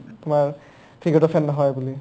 কোৱা cricket ৰ fan নহয় বুলি